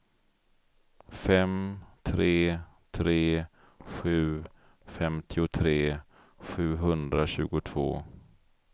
fem tre tre sju femtiotre sjuhundratjugotvå